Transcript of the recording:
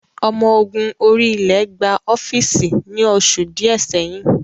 Omo ogun orí-ilẹ̀ gba ọ́fíìsì ni oṣù díẹ̀ sẹ́yìn